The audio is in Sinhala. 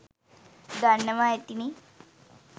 දන්නවා ඇතිනේ